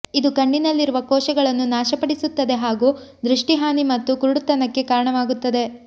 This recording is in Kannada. ಇದು ಕಣ್ಣಿನಲ್ಲಿರುವ ಕೋಶಗಳನ್ನು ನಾಶ ಪಡಿಸುತ್ತದೆ ಹಾಗೂ ದೃಷ್ಠಿ ಹಾನಿ ಮತ್ತು ಕುರುಡುತನಕ್ಕೆ ಕಾರಣವಾಗುತ್ತದೆ